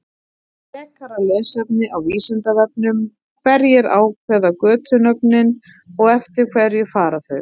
Frekara lesefni á Vísindavefnum: Hverjir ákveða götunöfnin og eftir hverju fara þau?